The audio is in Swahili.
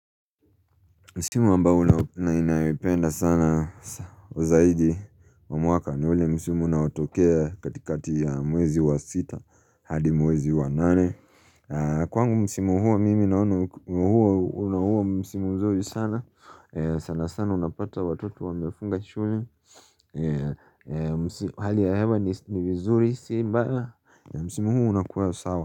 Msimu ambao nau ninaipenda sana zaidi wa mwaka ni ule msimu unaotokea katikati ya mwezi wa sita hadi mwezi wa nane Kwangu msimu huo mimi naona huo una huo msimu mzuri sana sana sana sana unapata watoto wamefunga shule Hali ya hewa ni vizuri si mbaya ya msimu huo unakua sawa.